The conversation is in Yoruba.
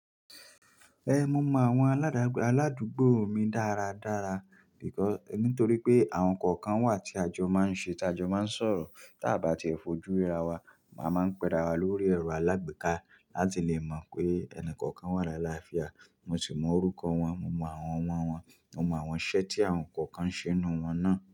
Ẹn, mo mọ àwọn aládù-aládùúgbò mi dára dára, nítorí pé àwọn kọ̀ọ̀kan wà tí a jọ máa ń ṣe, tí a jọ máa ń sọ̀rọ̀, tá a bá ti fojú ríra wa, màá máa ń pẹ́ra wa lórí ẹ̀rọ alágbèéká láti lè mọ̀ pé ẹni kọ̀ọ̀kan wà láì láfià. Mo sì mọ orúkọ wọn, mo mọ àwọn ọmọ wọn, mo mọ àwọn iṣẹ́ tí àwọn kọ̀ọ̀kan ṣe nínú wọn náà.